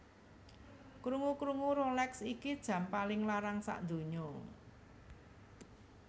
Krungu krungu Rolex iki jam paling larang sakdunya